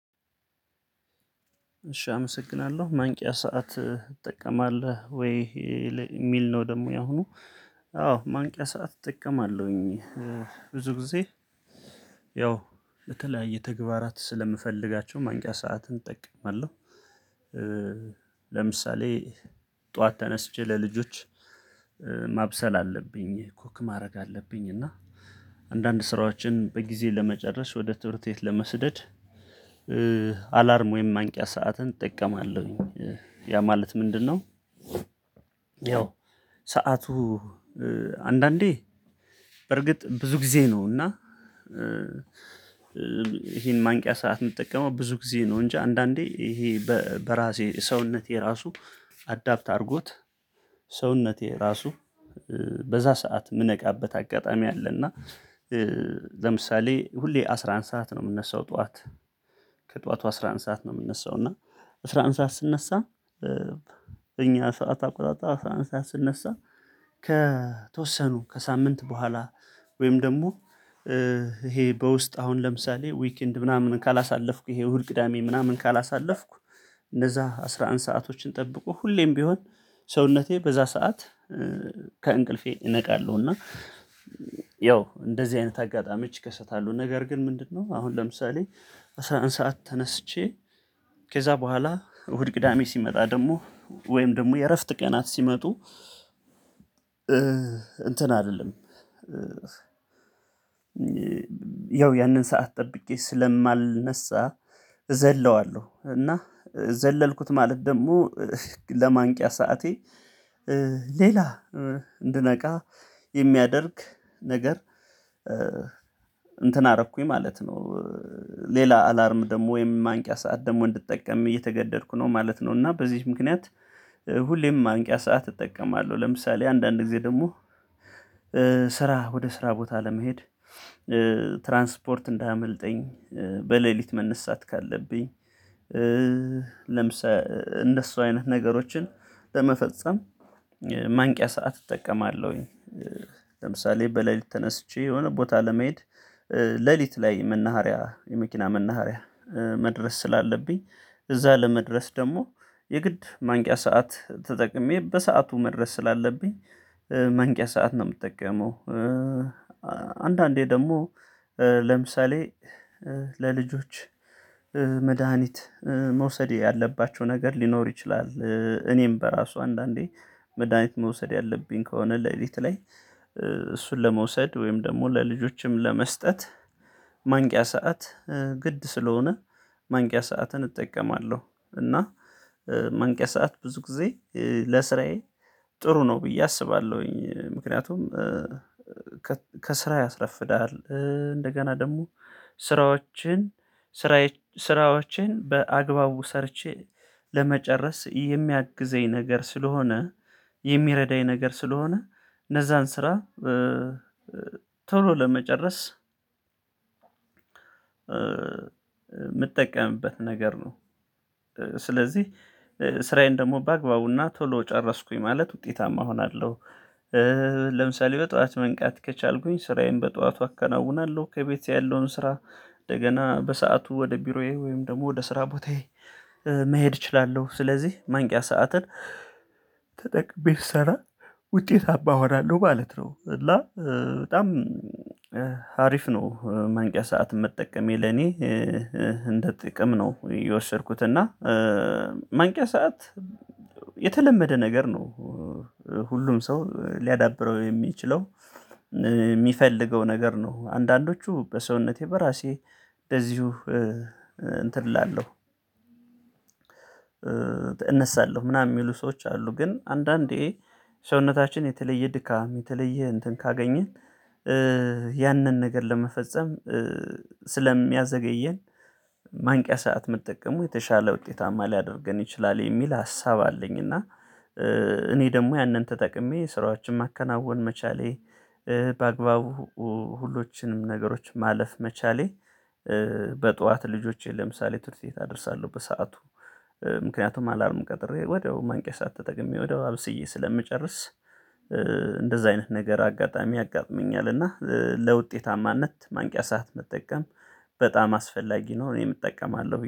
እሺ አመሰግናለሁ ማንቂያ ሰዓት ትጠቀማለህ ወይ የሚል ነው ደግሞ ያሁኑ አዎ ማንቂያ ሰዓት እጠቀማለሁኝ። ብዙ ጊዜ ያው ለተለያየ ተግባራት ስለምፈልጋቸው ማንቂያ ሰዓትን እጠቀማለሁ። ለምሳሌ ጠዋት ተነስቼ ለልጆች ማብሰል አለብኝ ኩክ ማድረግ አለብኝ እና አንዳንድ ስራዎችን በጊዜ ለመጨረስ ወደ ትምህርት ቤት ለመስደድ አላርም ወይም ማንቂያ ሰዓትን እጠቀማለሁኝ ያ ማለት ምንድነው? ያው ሰዓቱ አንዳንዴ በርግጥ ብዙ ጊዜ ነው። እና ይሄን ማንቂያ ሰዓት የምጠቀመው ብዙ ጊዜ ነው። እንጂ አንዳንዴ ይሄ በራሴ ሰውነቴ ራሱ አዳፕት አድርጎት ሰውነቴ ራሱ በዛ ሰዓት የምነቃበት አጋጣሚ አለ። እና ለምሳሌ ሁሌ አስራ አንድ ሰዓት ነው የምነሳው። ጠዋት ከጠዋቱ አስራ አንድ ሰዓት ነው የምነሳው። እና አስራ አንድ ሰዓት ስንነሳ በኛ ሰዓት አቆጣጠር አስራ አንድ ሰዓት ስነሳ። ከተወሰኑ ከሳምንት በኋላ ወይም ደግሞ ይሄ በውስጥህ አሁን ለምሳሌ ዊክንድ ምናምን ካላሳለፍኩ ይሄ እሁድ ቅዳሜ ምናምን ካላሳለፍኩ። እንደዛ አስራ አንድ ሰአቶችን ጠብቆ ሁሌም ቢሆን ሰውነቴ በዛ ሰዓት ከእንቅልፌ እነቃለሁ። እና ያው እንደዚህ አይነት አጋጣሚዎች ይከሰታሉ። ነገር ግን ምንድነው? አሁን ለምሳሌ አስራ አንድ ሰዓት ተነስቼ። ከዛ በኋላ እሁድ ቅዳሜ ሲመጣ ደግሞ ወይም ደግሞ የእረፍት ቀናት ሲመጡ። እንትን አልልም። ያው ያንን ሰዓት ጠብቄ ስለማልነሳ እዘለዋለሁ። እና ዘለልኩት ማለት ደግሞ ለማንቂያ ሰዓቴ ሌላ እንድነቃ የሚያደርግ ነገር እንትን አረኩኝ ማለት ነው። ሌላ አላርም ደግሞ ወይም ማንቂያ ሰዓት ደግሞ እንድትጠቀም እየተገደድኩ ነው ማለት ነው። እና በዚች ምክንያት ሁሌም ማንቂያ ሰዓት እጠቀማለሁ። ለምሳሌ አንዳንድ ጊዜ ደግሞ ስራ ወደ ስራ ቦታ ለመሄድ። ትራንስፖርት እንዳያመልጠኝ በሌሊት መነሳት ካለብኝ። ለምሳሌ እንደሱ አይነት ነገሮችን ለመፈጸም ማንቂያ ሰዓት እጠቀማለሁኝ። ለምሳሌ በሌሊት ተነስቼ የሆነ ቦታ ለመሄድ ሌሊት ላይ መናሃሪያ የመኪና መናሃሪያ መድረስ ስላለብኝ እዛ ለመድረስ ደግሞ የግድ ማንቂያ ሰዓት ተጠቅሜ በሰአቱ መድረስ ስላለብኝ ማንቂያ ሰዓት ነው የምጠቀመው። አንዳንዴ ደግሞ ለምሳሌ ለልጆች መድሃኒት መውሰድ ያለባቸው ነገር ሊኖር ይችላል። እኔም በራሱ አንዳንዴ መድሃኒት መውሰድ ያለብኝ ከሆነ ሌሊት ላይ እሱን ለመውሰድ ወይም ደግሞ ለልጆችም ለመስጠት ማንቂያ ሰዓት ግድ ስለሆነ ማንቂያ ሰዓትን እጠቀማለሁ። እና መንቂያ ሰዓት ብዙ ጊዜ ለስራዬ ጥሩ ነው ብዬ አስባለሁኝ። ምክንያቱም ከስራ ያስረፍዳሀል። እንደገና ደግሞ ስራዎችን በአግባቡ ሰርቼ ለመጨረስ የሚያግዘኝ ነገር ስለሆነ የሚረዳኝ ነገር ስለሆነ እነዛን ስራ ቶሎ ለመጨረስ የምጠቀምበት ነገር ነው። ስለዚህ ስራዬን ደግሞ በአግባቡና ቶሎ ጨረስኩኝ ማለት ውጤታማ እሆናለሁ። ለምሳሌ በጧት መንቃት ከቻልኩኝ ስራዬን በጧቱ አከናውናለሁ ከቤት ያለውን ስራ እንደገና በሰአቱ ወደ ቢሮዬ ወይም ደግሞ ወደ ስራ ቦታዬ መሄድ እችላለሁ። ስለዚህ ማንቂያ ሰዓትን ሰዓትን ተጠቅሜ ስሰራ ውጤታማ እሆናለሁ ማለት ነው። እና በጣም ሀሪፍ ነው ማንቂያ ሰዓትን መጠቀሜ ለኔ እንደ ጥቅም ነው የወሰድኩት። እና ማንቂያ ሰዓት የተለመደ ነገር ነው። ሁሉም ሰው ሊያዳብረው የሚችለው የሚፈልገው ነገር ነው። አንዳንዶቹ በሰውነቴ በራሴ እንደዚሁ እንትን እላለሁ። እነሳለሁ ምናምን የሚሉ ሰዎች አሉ። ግን አንዳንዴ ሰውነታችን የተለየ ድካም የተለየ እንትን ካገኘን ያንን ነገር ለመፈጸም ስለሚያዘገየን ማንቂያ ሰዓት መጠቀሙ የተሻለ ውጤታማ ሊያደርገን ይችላል። የሚል ሀሳብ አለኝ። እና እኔ ደግሞ ያንን ተጠቅሜ ስራዎችን ማከናወን መቻሌ በአግባቡ ሁሎችንም ነገሮች ማለፍ መቻሌ። በጧት ልጆቼን ለምሳሌ ትምህርት ቤት አደርሳለሁ በሰአቱ። ምክንያቱም አላርም ቀጥሬ ወዳው ማንቂያ ሰዓት ተጠቅሜ ወዳው አብስዬ ስለምጨርስ እንደዛ አይነት ነገር አጋጣሚ ያጋጥመኛል። እና ለውጤታማነት ማንቂያ ሰዓት መጠቀም በጣም አስፈላጊ ነው። እኔም እጠቀማለሁኝ